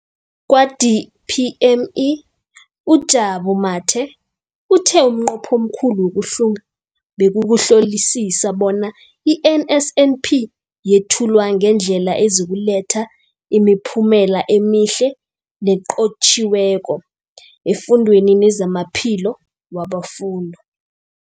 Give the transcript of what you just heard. Kwa-DPME, uJabu Mathe, uthe umnqopho omkhulu wokuhlunga bekukuhlolisisa bona i-NSNP yethulwa ngendlela ezokuletha imiphumela emihle nenqotjhiweko efundweni nezamaphilo wabafundi.